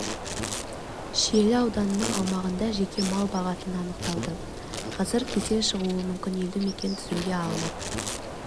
шиелі ауданының аумағында жеке мал бағатыны анықталды қазір кесел шығуы мүмкін елді мекен тізімге алынып